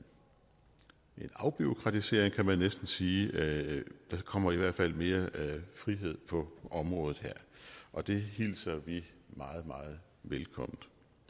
afbureaukratisering kan man næsten sige der kommer i hvert fald mere frihed på området her og det hilser vi meget meget velkommen